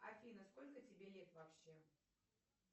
афина сколько тебе лет вообще